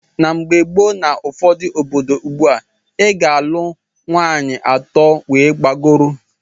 Na mgbe gboo na ụfọdụ obodo ugbua, i ga - alunwu nwaanyị atọ wee gbagọrọ.